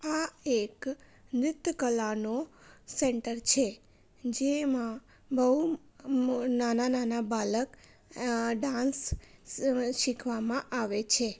આ એક ન્રીત્ય કલાનું સેન્ટર છે. જેમાં બહુ નાના બાલક અઅ ડાન્સ સીખવામાં આવે છે.